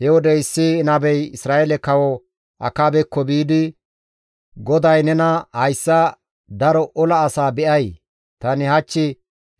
He wode issi nabey Isra7eele Kawo Akaabekko biidi, «GODAY nena, ‹Hayssa daro ola asaa be7ay? Tani hach